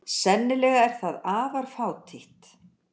Sennilega er það afar fátítt.